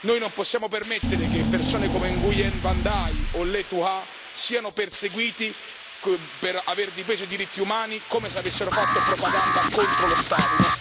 Noi non possiamo permettere che persone come Nguyễn Văn Đài o Lê Thu Hà siano perseguiti per aver difeso i diritti umani come se avessero fatto propaganda contro lo Stato.